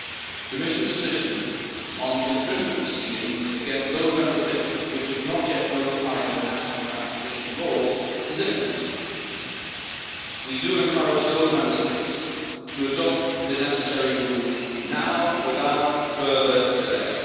The Commission decision on infringement proceedings against those Member States which have not yet notified their national transposition laws is imminent. We encourage those Member States to adopt the necessary rules now, without further delay.